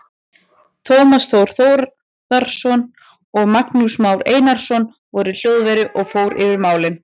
Tómas Þór Þórðarson og Magnús Már Einarsson voru í hljóðveri og fór yfir málin.